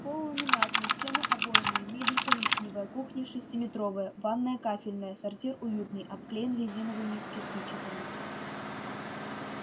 пол ламинатный стены обойные мебель коричневая кухня шестиметровая ванная кафельная сортир уютный обклеен резиновыми кирпичиками